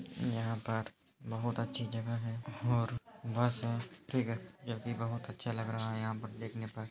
यहाँ पर बहुत अच्छी जगह है और बस है। ठीक है जोकि बहुत अच्छा लग रहा है यहा पर देखने पर।